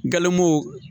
Galon